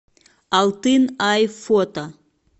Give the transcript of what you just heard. алтын ай фото